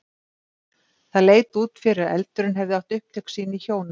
Það leit út fyrir að eldurinn hefði átt upptök sín í hjóna